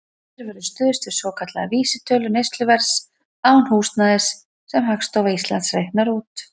Hér verður stuðst við svokallaða vísitölu neysluverðs án húsnæðis, sem Hagstofa Íslands reiknar út.